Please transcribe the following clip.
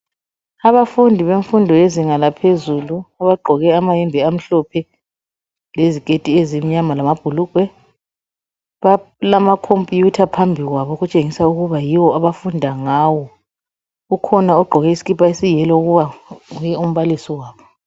Abafundi bemfundo yezinga laphezulu abagqoke amayembe amhlophe leziketi ezimnyama lamabhulugwe balamakhompiyutha phambi kwabo okutshengisa ukuba yiwo abafunda ngawo. Kukhona ogqoke isikipa esilithanga okutshengisela ukuthi nguye umbalisi wabo.